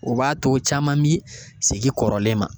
O b'a to caman bi sege kɔrɔlen ma